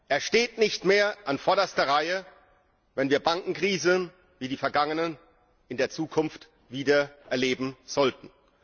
Er steht nicht mehr in vorderster Reihe, wenn wir Bankenkrisen wie die vergangenen in der Zukunft wieder erleben sollten.